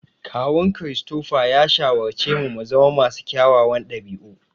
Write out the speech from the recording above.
Kawun Christopher ya shawarci mu muzama masu kyawawan ɗabi'u.